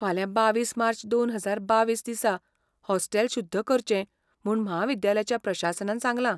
फाल्यां बावीस मार्च दोन हजार बावीस दिसा हॉस्टेल शुद्ध करचें म्हूण म्हाविद्यालयाच्या प्रशासनान सांगलां.